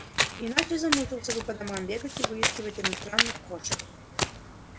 иначе замучился бы по домам бегать и выискивать иностранных кошек